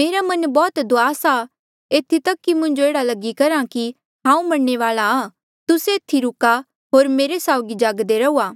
मेरा मन बौह्त दुआस आ एथी तक कि मुंजो एह्ड़ा लगी करहा कि हांऊँ मरणे वाल्आ आ तुस्से एथी रूका होर मेरे साउगी जागदे रहूआ